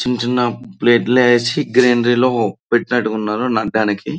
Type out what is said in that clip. చిన్న చిన్న ప్లేట్లు వేసి గ్రైండర్లో పెట్టినట్టు వున్నారో నన్ను దానికి --